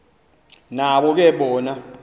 nabo ke bona